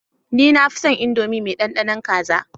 Ni nafinson indomie me dandanon kaza